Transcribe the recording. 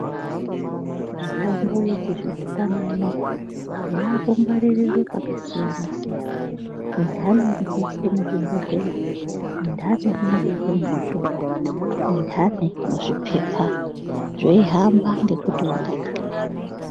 Mitombo yechizvino pano uno yakugwaririrwe yakasiyana siyana itanhi inoiswe muzvibhohleya itanhi inobekwe muzvitumbu itahni muzvipepa zveihamba ngekuti wakadini.